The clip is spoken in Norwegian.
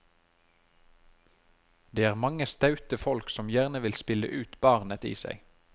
Det er mange staute folk som gjerne vil spille ut barnet i seg.